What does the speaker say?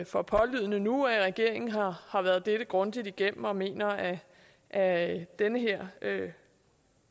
for pålydende nu at regeringen har været dette grundigt igennem og mener at at den her